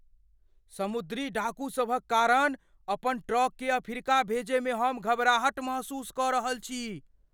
समुद्री डाकूसभक कारण अपन ट्रककेँ अफ्रीका भेजयमे हम घबराहट महसूस कऽ रहल छी।